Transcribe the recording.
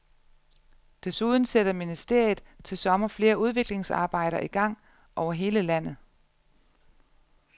Desuden sætter ministeriet til sommer flere udviklingsarbejder i gang over hele landet.